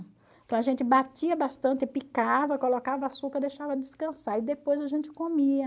Então a gente batia bastante, picava, colocava açúcar, deixava descansar e depois a gente comia.